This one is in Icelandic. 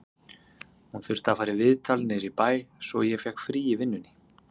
Hún þurfti að fara í viðtal niður í bæ, svo ég fékk frí í vinnunni